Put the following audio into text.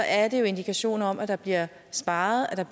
er det jo indikationer om at der bliver sparet